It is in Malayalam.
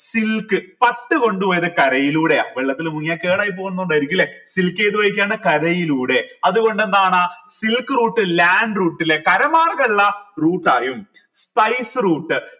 silk പട്ട് കൊണ്ട് പോയത് കരയിലൂടെയാ വെള്ളത്തിൽ മുങ്ങിയ കേടായി പോന്നത് കൊണ്ടായിരിക്കും ല്ലെ silk ഏത് വഴിക്കാണ് കരയിലൂടെ അത്കൊണ്ട് എന്താണ് silk route land route ൽ കര മാർഗള്ള route ആയും spice route